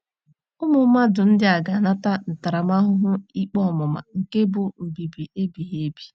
Ụmụ mmadụ ndị a “ ga - anata ntaramahụhụ ikpe ọmụma nke bụ́ mbibi ebighị ebi. ”